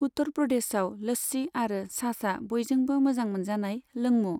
उत्तर प्रदेशआव लस्सि आरो छाछआ बयजोंबो मोजां मोनजानाय लोंमु।